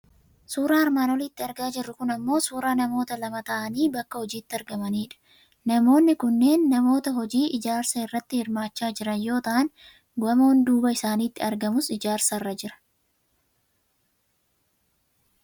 Suuraan armaan olitti argaa jirru kun ammoo suuraa namoota lama ta'anii bakka hojiitti argamanidha. Namoonni kunneen namoota hojii ijaarsaa irratti hirmaachaa jiran yoo ta'an, gamoon duuba isaanitti argamus ijaarsarra jira.